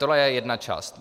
To je jedna část.